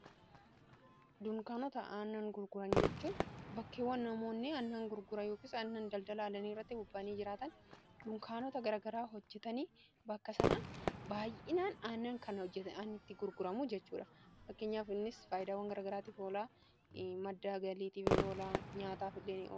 dunkaanota aannan gurguran jechuun bakkeewwan namoonni annan gurgura yookis annan daldala alani iratti bubbaanii jiraatan dunkaanota garagaraa hojjetanii bakka sana baa''inaan aannan kan hojjeta aniitti gurguramu jechuudha bakkinyaafinnis faayidaawwan garagaraattiif oolaa madda galiitiifni oolaa nyaataaf illeen